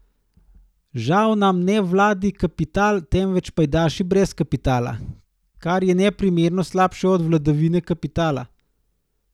Žal nam ne vlada kapital temveč pajdaši brez kapitala, kar je neprimerno slabše od vladavine kapitala.